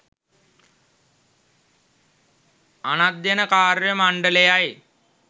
අනධ්‍යයන කාර්ය මණ්ඩලයයි